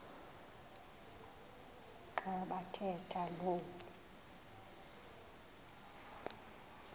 xa bathetha lo